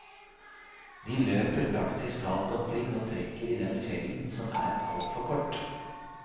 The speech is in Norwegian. De løper praktisk talt omkring og trekker i den fellen som er altfor kort.